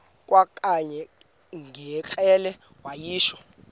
kwakanye ngekrele wayishu